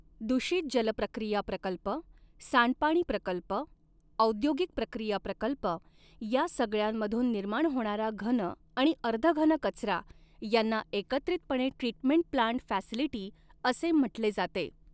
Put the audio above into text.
दूषित जल प्रक्रिया प्रकल्प सांडपाणी प्रकल्प औद्योगिक प्रक्रिया प्रकल्प या सगळ्यांमधून निर्माण होणारा घन आणि अर्धघन कचरा यांना एकत्रितपणे ट्रीटमेंट प्लान्ट फॅसिलिटी असे म्हटले जाते.